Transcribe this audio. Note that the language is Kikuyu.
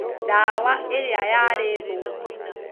Ndawa ĩrĩa yarĩ thũku